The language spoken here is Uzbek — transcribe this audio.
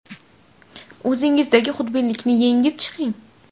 O‘zingizdagi xudbinlikni yengib chiqing.